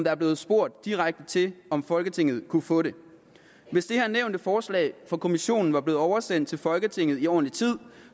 er blevet spurgt direkte til om folketinget kunne få det hvis det her nævnte forslag fra europa kommissionen var blevet oversendt til folketinget i ordentlig tid